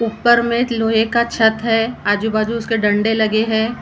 ऊपर में एक लोहे का छत है आजू बाजू उसके डंडे लगे हे।